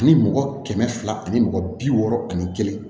Ani mɔgɔ kɛmɛ fila ani mɔgɔ bi wɔɔrɔ ani kelen